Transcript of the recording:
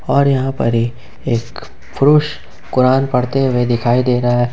और यहां पर ही एक पुरुष कुरान पढ़ते हुए दिखाई दे रहा--